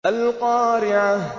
الْقَارِعَةُ